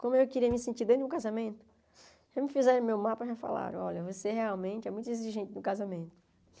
Como eu queria me sentir dentro de um casamento, já me fizeram o meu mapa e já falaram, olha, você realmente é muito exigente para o casamento.